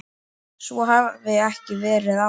Svo hafi ekki verið áður.